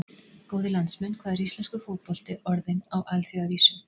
Góðir landsmenn, hvað er íslenskur fótbolti orðinn á alþjóðavísu?